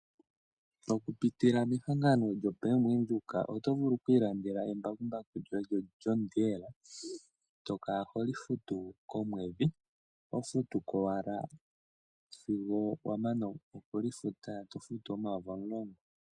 Oku pitila mehangano lyoBank windhoek oto vulu oku ilandela embakumbaku lyoye lyoJohn Deere to kala holi futu komwedhi ho futuko owala sigo wamana okuli futa, to futu omayovi 10000.